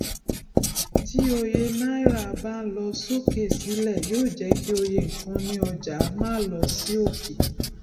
tí òye náírà bá ń lọ sókè sílẹ yóò jẹ kí òye nkan ní ọjà má lọ sí òkè